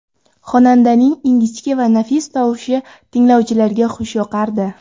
Xonandaning ingichka va nafis tovushi tinglovchilarga xush yoqardi.